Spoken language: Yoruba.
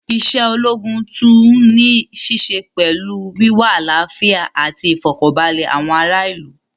Isé ológun tún ní í ṣe pẹlú wíwá àlàfíà ati ìfọ̀kaǹbalẹ̀ àwọn ará ìlú